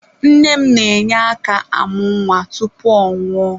Nne m na-enye aka amụ nwa tupu ọ nwụọ.